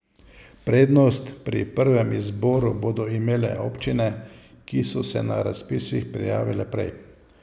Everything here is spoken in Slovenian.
Prednost pri prvem izboru bodo imele občine, ki so se na razpis prijavile prej.